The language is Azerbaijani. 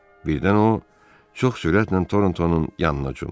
Birdən o çox sürətlə Toronton'un yanına cumdu.